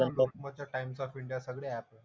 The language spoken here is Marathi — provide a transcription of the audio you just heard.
लोकमत ते टाइम्स ऑफ इंडिया सगळे ऍप आहेत.